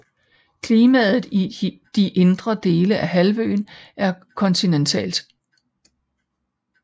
Klimaet i de indre dele af halvøen er kontinentalt